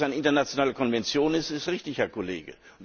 Dass das eine internationale Konvention ist, ist richtig, Herr Kollege!